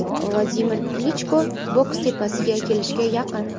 Vladimir Klichko boks tepasiga kelishga yaqin.